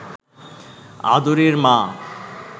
আদুরির মা